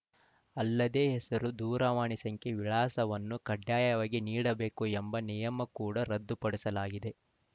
ಅಲ್ಲದೇ ಹೆಸರು ದೂರವಾಣಿ ಸಂಖ್ಯೆ ವಿಳಾಸವನ್ನು ಕಡ್ಡಾಯವಾಗಿ ನೀಡಬೇಕು ಎಂಬ ನಿಯಮ ಕೂಡ ರದ್ದುಪಡಿಸಲಾಗಿದೆ